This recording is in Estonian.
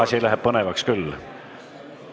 Asi läheb põnevaks küll.